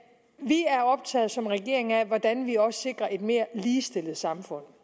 som regeringen optaget af hvordan vi også sikrer et mere ligestillet samfund